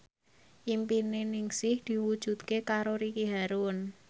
impine Ningsih diwujudke karo Ricky Harun